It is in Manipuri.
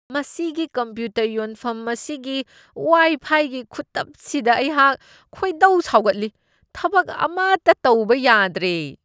ꯃꯁꯤꯒꯤ ꯀꯝꯄ꯭ꯌꯨꯇꯔ ꯌꯣꯟꯐꯝ ꯑꯁꯤꯒꯤ ꯋꯥꯏꯐꯥꯏꯒꯤ ꯈꯨꯇꯞꯁꯤꯗ ꯑꯩꯍꯥꯛ ꯈꯣꯏꯗꯧ ꯁꯥꯎꯒꯠꯂꯤ꯫ ꯊꯕꯛ ꯑꯃꯇ ꯇꯧꯕ ꯌꯥꯗ꯭ꯔꯦ ꯫